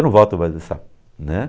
Eu não volto mais nessa, né?